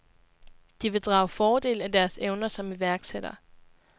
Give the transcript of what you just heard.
De vil drage fordel af deres evner som iværksætter.